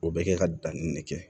O bɛ kɛ ka danni de kɛ